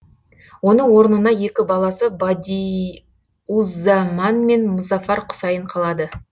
оның орнына екі баласы бадиуззаман мен мұзаффар құсайын қалады